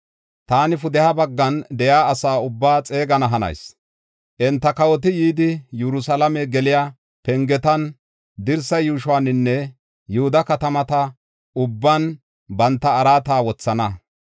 Taani pudeha bagga kawotethatan de7iya asa ubbaa xeegana hanayis. Enta kawoti yidi, Yerusalaame geliya pengetan, dirsa yuushuwaninne Yihuda katamata ubban banta araata wothana.